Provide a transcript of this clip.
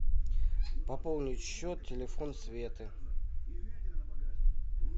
пополнить счет телефон светы